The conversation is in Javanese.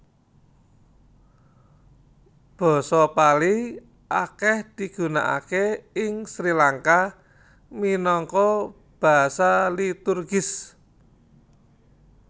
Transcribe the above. Basa Pali akèh digunakaké ing Sri Langka minangka basa liturgis